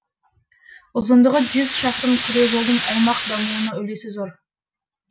ұзындығы шақырым күре жолдың аймақ дамуына үлесі зор